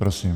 Prosím.